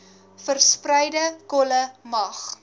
verspreide kolle mag